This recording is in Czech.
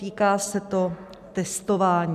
Týká se to testování.